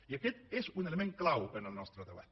i aquest és un element clau en el nostre debat